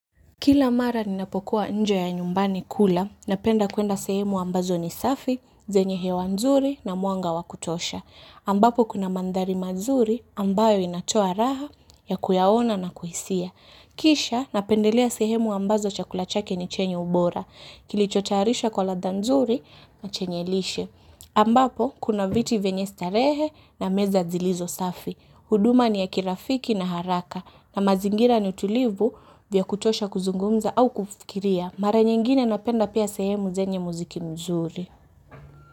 Kila mara ninapokuwa nje ya nyumbani kula, napenda kuenda sehemu ambazo ni safi, zenye hewa nzuri na muanga wa kutosha. Ambapo kuna maathari mazuri ambayo inatoa raha yakuyaona na kuhisia. Kisha napendelea sehemu ambazo chakula chake ni chenye ubora. Kilicho tayarisha kwa ladha nzuri na chenye lishe. Ambapo kuna viti venye starehe na meza zilizo safi. Huduma ni ya kirafiki na haraka na mazingira ni tulivu vya kutosha kuzungumza au kufikiria. Mara nyingine napenda pia sehemu zenye muziki muzuri.